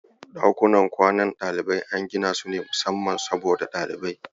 Dakunan kwanan ɗaliba an ginasu ne musamman saboda ɗalibai.